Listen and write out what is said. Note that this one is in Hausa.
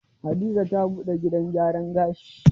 Hadiza ta buɗe gidan gyaran gashi.